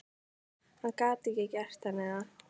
Hann gat ekki gert henni það.